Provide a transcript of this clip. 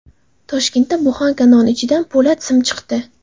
Toshkentda buxanka non ichidan po‘lat sim chiqdi.